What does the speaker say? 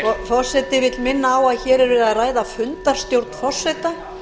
forseti vill minna á að hér er verið að ræða fundarstjórn forseta